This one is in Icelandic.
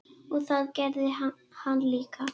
Og það gerði hann líka.